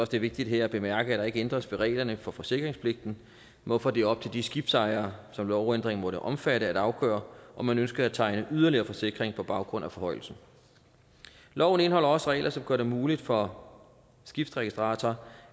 det er vigtigt her at bemærke at der ikke ændres ved reglerne for forsikringspligten hvorfor det er op til de skibsejere som lovændringen måtte omfatte at afgøre om man ønsker at tegne yderligere forsikring på baggrund af forhøjelsen loven indeholder også regler som gør det muligt for skibsregistrator